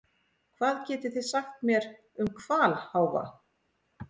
Hvað getið þið sagt mér um hvalháfa?